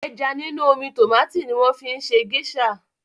Ẹja nínú omi tòmátì ni wọ́n fi ń ṣe géṣà.